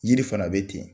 Yiri fana bɛ ten